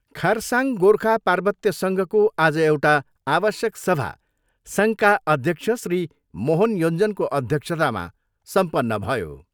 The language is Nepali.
खरसाङ गोर्खा पार्वत्य सङ्घको आज एउटा आवश्यक सभा सङ्घका अध्यक्ष श्री मोहन योञ्जनको अध्यक्षतामा सम्पन्न भयो।